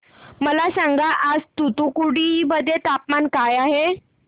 मला सांगा आज तूतुकुडी मध्ये तापमान काय आहे